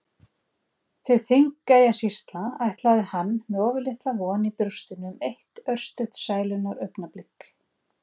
Til Þingeyjarsýslna ætlaði hann með ofurlitla von í brjóstinu um eitt örstutt sælunnar augnablik.